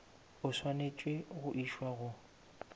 o swanetše go išwa go